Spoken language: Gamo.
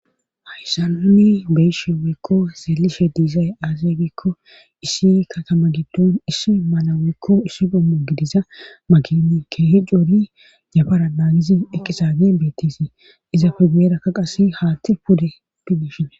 Hayssanuni beyishe weekko seelishe diizay aazegikko issi katama giddon issi malaweekko issi gommo gidiza magini keehi coori yafara naagizi eqisage beettisi izafe guyerakka qase haatte pude pibeshine